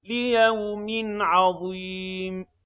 لِيَوْمٍ عَظِيمٍ